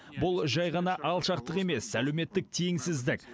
бұл жай ғана алшақтық емес әлеуметтік теңсіздік